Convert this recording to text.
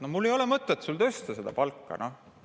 No mul ei ole mõtet sul seda palka tõsta.